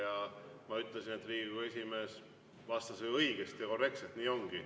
Ja ma ütlesin, et Riigikogu esimees vastas õigesti ja korrektselt, nii ongi.